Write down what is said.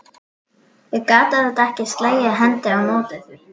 Ég gat auðvitað ekki slegið hendi á móti því.